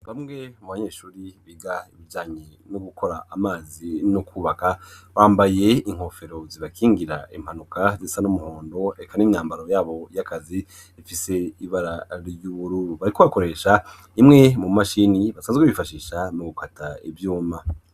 Bamwe mu banyeshure biga ibijanye no gukora amazi no kubaka bambaye inkofero zibakingira impanuka zisa n'umuhondo eka n'imyambaro yabo y'akazi ifise ibara ry'ubururu. Bariko bakoresha imwe mu mashini basanzwe bifashisha mu gukata ivyuma.